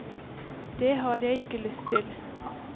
Det har jeg ikke lyst til.